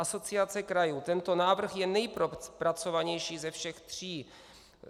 Asociace krajů: Tento návrh je nejpropracovanější ze všech tří.